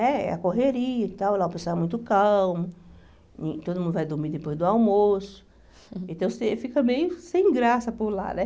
É a correria e tal, lá o pessoal é muito calmo, e todo mundo vai dormir depois do almoço, então você fica meio sem graça por lá, né?